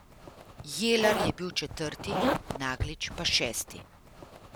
Jelar je bil četrti, Naglič pa šesti.